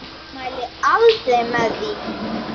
Ég mæli aldrei með því.